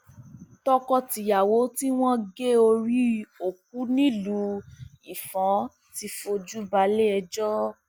tọkọtìyàwó tí wọn gé orí òkú nílùú ifon ti fojú balẹẹjọ